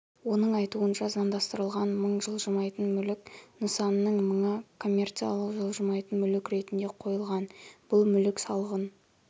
оның айтуынша заңдастырылған мың жылжымайтын мүлік нысанының мыңы коммерциялық жылжымайтын мүлік ретінде қойылған бұл мүлік салығын